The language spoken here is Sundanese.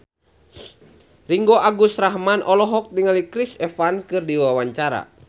Ringgo Agus Rahman olohok ningali Chris Evans keur diwawancara